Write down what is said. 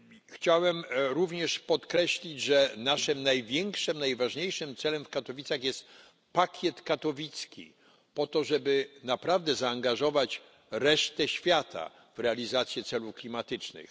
Chciałem również podkreślić, że naszym największym, najważniejszym celem w Katowicach jest pakiet katowicki, po to żeby naprawdę zaangażować resztę świata w realizację celów klimatycznych.